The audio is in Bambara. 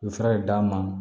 U ye fura de d'a ma